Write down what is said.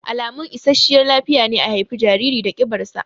Alamun isasshiyar lafiya ne a haifi jariri da ƙibar sa